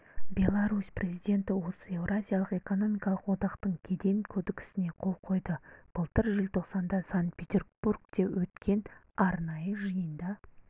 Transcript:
беларусь президенті осы еуразиялық экономикалық одақтың кеден кодексіне қол қойды былтыр желтоқсанда санкт-петербургте өткен арнайы жиында